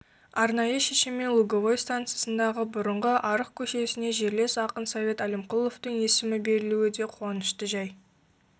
арнайы шешімімен луговой стансасындағы бұрынғы арықкөшесіне жерлес ақын совет әлімқұловтың есімі берілуі де қуанышты жай